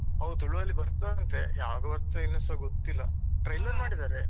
ಹೌದ್ ತುಳು ಅಲ್ಲಿ ಬರ್ತದೆ ಅಂತೆ ಯಾವಾಗ ಬರ್ತದೆ ಇನ್ನುಸ ಗೊತ್ತಿಲ್ಲಾ. ಮಾಡಿದ್ದಾರೆ.